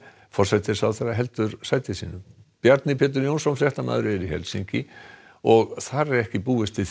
forsætisráðherra heldur sæti sínu Bjarni Pétur Jónsson fréttamaður er í Helsinki og þar er ekki búist við